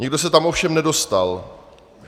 Nikdo se tam ovšem nedostal.